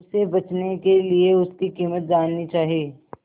उसे बचने के लिए उसकी कीमत जाननी चाही